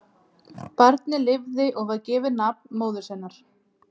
Barnið lifði og var gefið nafn móður sinnar.